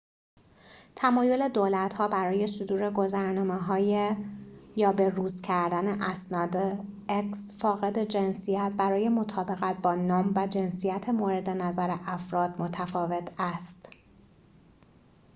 تمایل دولت‌ها برای صدور گذرنامه‌های فاقد جنسیت x یا به‌روز کردن اسناد برای مطابقت با نام و جنسیت مورد نظر افراد، متفاوت است